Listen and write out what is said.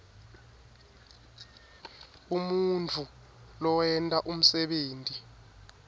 umuntfu lowenta umsebenti